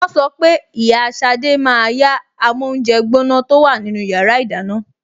Wọ́n sọ pé ìyá Ṣadé máa yá amóúnjẹgbóná tó wà nínú yàrá ìdáná